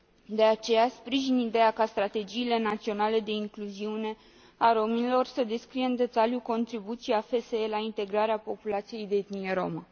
De aceea, sprijin ideea ca strategiile naționale de incluziune a romilor să descrie în detaliu contribuția FSE la integrarea populației de etnie romă.